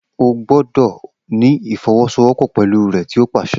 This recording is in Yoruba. O gbọdọ ni ifọwọsowọpọ pẹlu rẹ ti o paṣẹ!